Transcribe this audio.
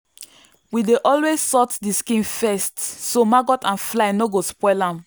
we dey always salt the skin first so maggot and fly no go spoil am.